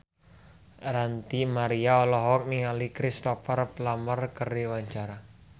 Ranty Maria olohok ningali Cristhoper Plumer keur diwawancara